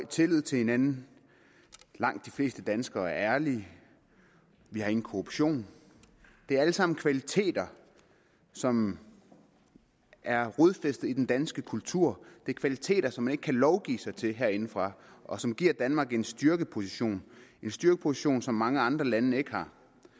tillid til hinanden langt de fleste danskere er ærlige vi har ingen korruption det er alt sammen kvaliteter som er rodfæstet i den danske kultur det er kvaliteter som man ikke kan lovgive sig til herindefra og som giver danmark en styrkeposition styrkeposition som mange andre lande ikke har